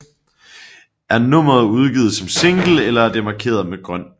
Er nummeret udgivet som single er det markeret med grøn